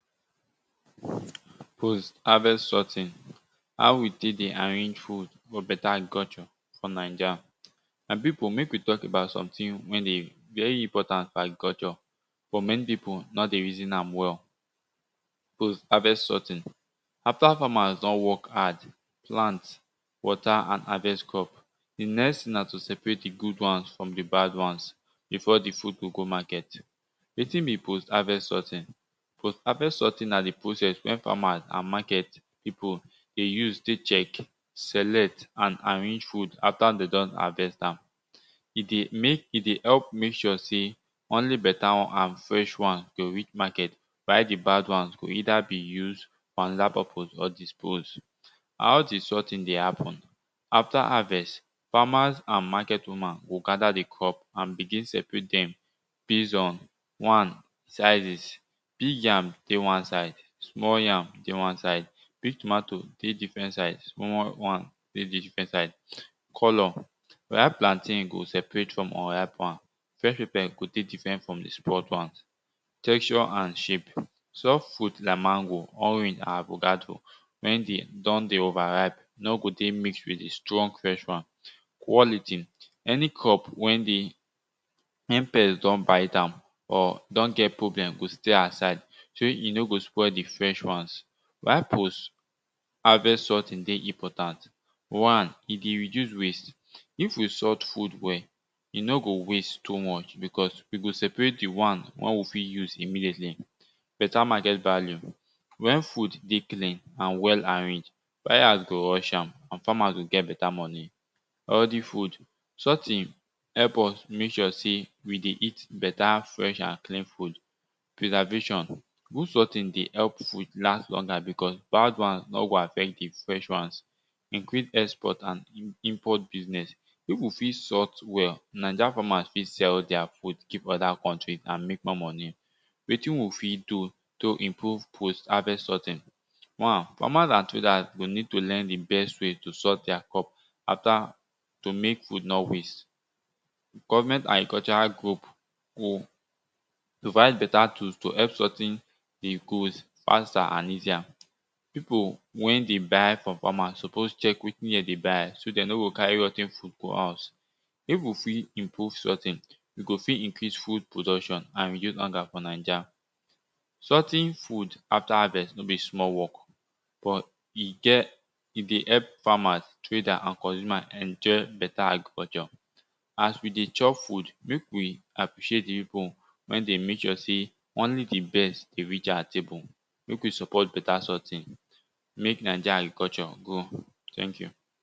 Post harvest sorting how we tek dey arrange food for beta agriculture for nija. My pipu mek we talk about something wey dey very important for agriculture for many pipu nor dey reason am well? Post harvest sorting, after farmers don work hard, plant water and harvest crop, di next na to separate di good ones from di bad wans before di thing go go market.wetin be post harvest sorting? postharvest sorting na di process wen farmers and market pipu dey use tek check, select and arrange food after de don harvest am. E dey mek e dey help mek sure sey only beta and fresh wan reach market while di bad wans go either be use for anoda prpose of dispose. How di sorting dey happen? After harvest, farmers and market woman go gather di crop and begin separate dem base on one sizes, big yam dey wan side, small yam dey wan side. Big tomatoe dey different side, small wan dey different side. Colour, ripe plantain go separate from unripe one, fresh pepper go the different from the spoilt one texture and shape, soft fruit like mango, orang and avocado wen de don dey overripe no go dey mix with di strong fresh wan. Quality, any crop wen dey? insect don bite am or don get problem go say aside shey e no go spoil di fresh wan while post harvest sorting dey important one e go reduce waste, if we sort food well, e no go waste too much because we go separate di wan wen we fit use immediately. Beta market value wen fruit dey clean and well arranged, buyers go rush am and farmers go get beta moni.. Healthy food sorting help us mek we dey eat beta fresh and clean food. Preservation good sorting dey help with last longer because bad wan nor go affect di fresh wans. Increase export and import business. Pipu fit sort well ninja farmers fit sell their fruit go anoda country and mek more moni. Wetin we fit do to improve post harvest sorting?. one farmers and traders go need to learn di best way to sort their crop after to mek food nor waste. Government and cultural group go provide beta tools to help sorting faster and easier. Pipu wen dey buy from farmer suppose check wetin den buy so dat de no go carry rot ten food go house. If we fit improve sortin we go fot increase food production and reduce hunger for Naija. Sorting food after harvest no be small work but e get e dey help farmers traders and consumer enjoy better agriculture. As we dey chop food make we appreciate the people wer the make sure say only the best the reach our table make we support better sorting make naija agriculture grow. Thank you